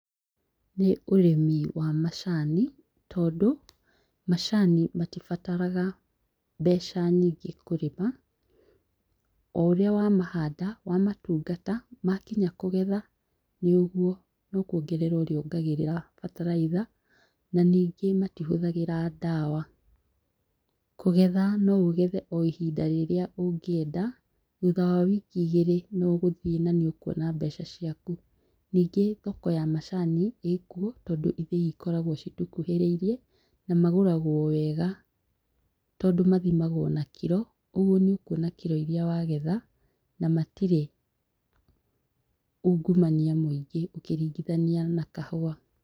Nĩ ũrĩmi wa macani, tondũ macani matibataraga mbeca nyĩngĩ kũrĩma o ũrĩa wamahanda wamatungata wakinya kũgetha nĩũguo no kuongerera ũrĩongagĩrĩra bataraitha na ningĩ matihũthagĩra ndawa, kũgetha no ũgethe o ihinda rĩrĩa ũngĩenda thutha wa wiki igĩrĩ nĩ ũgũthie na nĩ ũkuona mbeca ciaku. Ningĩ thoko ya macani ĩkuo tondũ ithĩi cikoragwo citũkuhĩrĩirie na magũragwo wega tondũ mathimagwo na kiro ũguo nĩ ũkuona kiro iria wagetha na matire ungumania mũingĩ ũkĩringithania na kahũa.